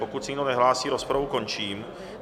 Pokud se nikdo nehlásí, rozpravu končím.